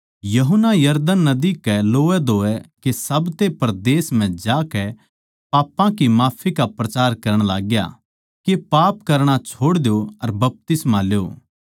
यूहन्ना यरदन नदी कै लोवैधोवै के साब्ते परदेस म्ह जाकै पापां की माफी का प्रचार करण लागग्या के पाप करणा छोड़ द्यो अर बपतिस्मा ल्यो